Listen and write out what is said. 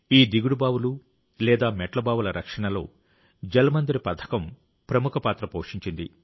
ఈ దిగుడు బావులు లేదా మెట్ల బావుల రక్షణలో జల్ మందిర్ పథకం ప్రముఖ పాత్ర పోషించింది